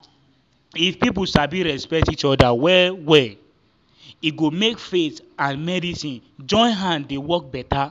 if people sabi respect each other well-well e go make faith and medicine join hand dey work better.